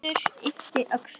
Hörður yppti öxlum.